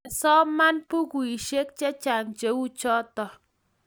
masoma bukuisiek chechang' che u chuto